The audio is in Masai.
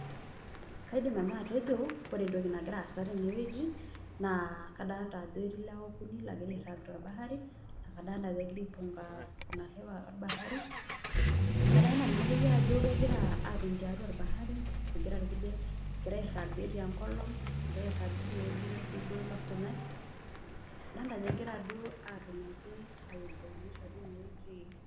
Kaidim nanu atejo ore entoki nagira aasa tenewueji naa kadolita ajo ketii ilewa okuni loogira airragg torbahari, egira aipunga ina hewa orbahari. Kadolita naa akeyie ajo kegira aatoni tiatwa orbahari, egira irkulie egira airrag tenkolong', egira airrag teinewueji netii duo ilo sunyai. Adolita ajo egira duo atoni ake ai enjoy maisha teine wueji